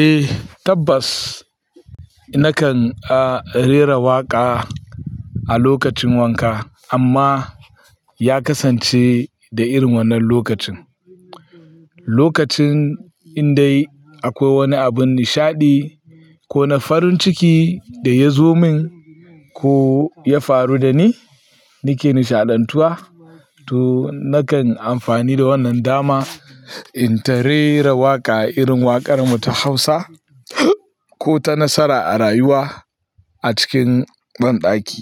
Eh tabbas nakan a rera waƙa a lokacin wanka amma ya kasance da irin wannan lokacin. Lokacin in dai akwai wani abin nishaɗi ko na farin ciki da ya zo min ko ya faru da ni, nake nishaɗantuwa to nakan amfani da wannan dama in ta rera waƙa irin waƙar mu ta Hausa ko ta nasara a rayuwa a cikin banɗaki.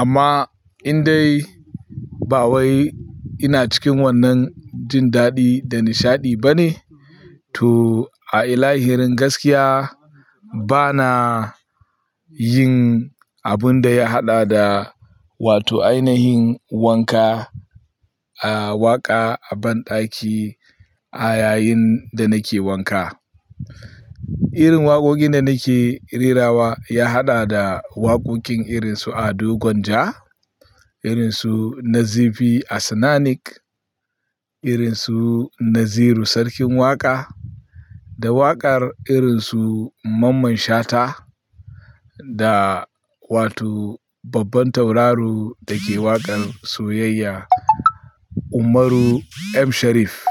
Amma in dai ba wai ina cikin wannan jin daɗi da nishaɗi bane to a ilahirin gaskiya bana yin abun da ya haɗa da wato ainihin wanka a waƙa a banɗaki a yayin da nake wanka. Irin waƙoƙin da nake rerawa ya haɗa da waƙoƙin irin su Ado Gwanja, irin su Nazifi Asnanik, irin su Naziru Sarkin Waƙa da waƙar irin su Mamman Shata da wato babban tauraro da ke waƙar soyayya Umaru M. Sharif.